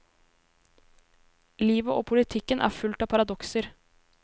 Livet og politikken er fullt av paradokser.